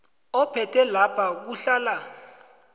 ophethe lapha kuhlala